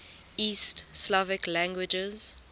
east slavic languages